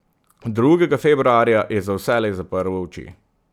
Drugega februarja je za vselej zaprl oči.